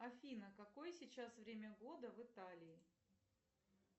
афина какое сейчас время года в италии